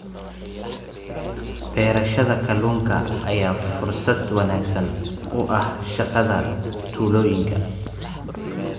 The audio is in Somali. Beerashada kalluunka ayaa fursad wanaagsan u ah shaqada tuulooyinka.